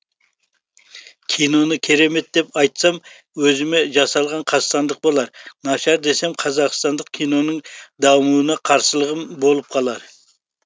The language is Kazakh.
киноны керемет деп айтсам өзіме жасалған қастандық болар нашар десем қазақстандық киноның дамуына қарсылығым болып қалар